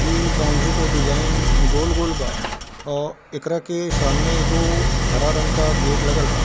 इ बॉउंड्री के डिज़ाइन गोल-गोल बा औ एकरा के सामने एगो हरा रंग का गेट लागल हअ।